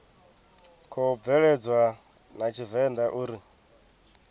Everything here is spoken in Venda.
khou bveledzwa a tshivenḓa uri